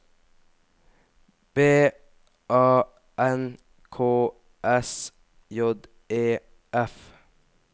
B A N K S J E F